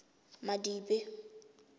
madibe